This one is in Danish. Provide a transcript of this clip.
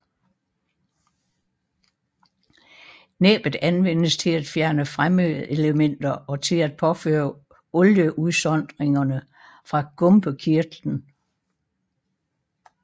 Næbbet anvendes til at fjerne fremmedelementer og til at påføre olieudsondringerne fra gumpekirtlen